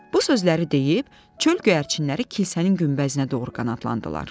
Bu sözləri deyib, çöl göyərçinləri kilsənin günbəzinə doğru qanadlandılar.